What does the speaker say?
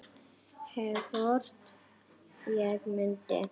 Hvort ég mundi.